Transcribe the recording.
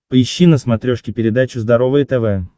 поищи на смотрешке передачу здоровое тв